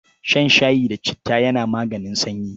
Shan shayi da citta ya maganin sanyi.